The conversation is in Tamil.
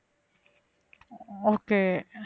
okay